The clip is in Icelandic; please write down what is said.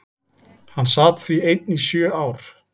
Hann sat því einn í sjö ár.